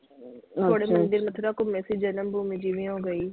ਥੋੜੇ ਥੋੜੇ ਜਿਵੇਂ ਮਥੁਰਾ ਘੁੰਮੇ ਸੀ ਜਨਮ ਭੂਮੀ ਜਿਵੇਂ ਹੋ ਗਈ।